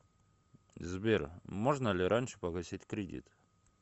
сбер можно ли раньше погасить кредит